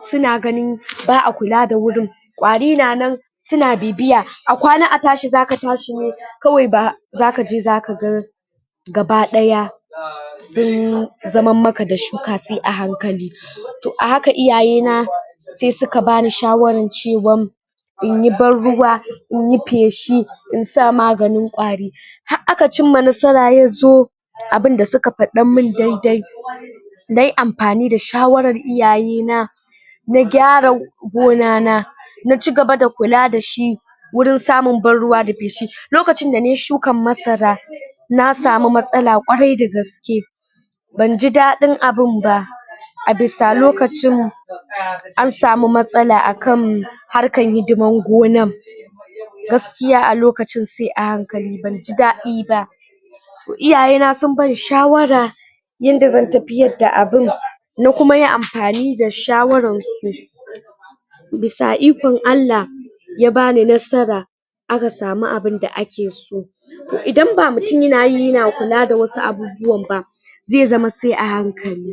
suna ganen ba'a kula da wurin kwari na nan suna bibiya, a kwana a tashi zaka tashi ne kawai ba zaka je zaka ga gabadaya sun zama maka da shuka sai a hankali, toh a haka iyaye na sai suka bane shawaran cewan inyi barruwa inyi peshi in sa maganin kwari har aka cinma nasara yazo abun da suka fada mun daidai dai amfani da shawaran iyaye na, na gyara gona na. na cigaba da kula da shi wurin samun barruwa da peshi, lokacin da nayi shukan masara na samu matsala kwarai da gaskiye ban ji dadin abun ba adisa lokacin an samu matsala akan harkan hidiman gonan gaskiya a lokacin sai a hankali, ban ji dadi ba toh iyaye na sun ban shawara yanda zan tafiyar da abun na kuma amfani da shawaran su bisa ikon Allah ya bane nasara, aka samu abun da ake so, toh idan ba mutum yana yi yana kula da wasu abubuwan ba